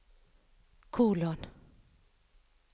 kolon